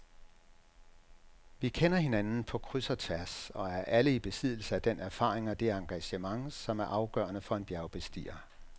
Vi kender hinanden på kryds og tværs og er alle i besiddelse af den erfaring og det engagement, som er afgørende for en bjergbestiger.